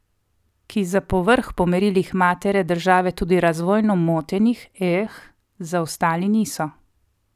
Ki za povrh po merilih matere države tudi razvojno moteni, eeh, zaostali niso.